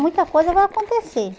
Muita coisa vai acontecer.